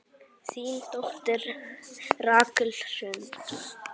Þín dóttir, Rakel Hrund.